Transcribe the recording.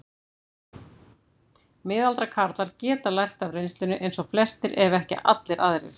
Miðaldra karlar geta lært af reynslunni eins og flestir ef ekki allir aðrir.